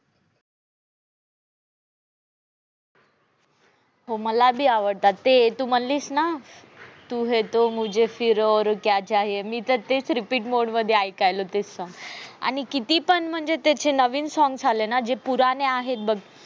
मला बी आवडतात. ते तू म्हणलीस ना तू है तो मुझे फिर और क्या चाहिये आयकायलो ते song आणि किती पण म्हणजे नवीन songs आले ना ते जे पुराने आहे बघ.